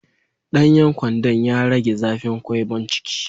Danyen gwandan ya rage zafin gyanbon ciki.